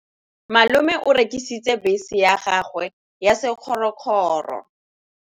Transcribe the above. Malome o rekisitse bese ya gagwe ya sekgorokgoro.